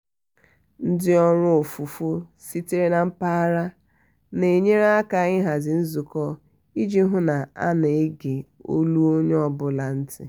ndị ọrụ ofufo sitere na mpaghara na-enyere aka ịhazi nzukọ iji hụ na a na-ege olu onye ọ bụla nti.